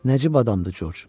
Nəcib adamdır Corc.